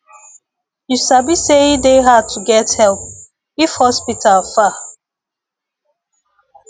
you sabi say e dey hard to get help if hospital far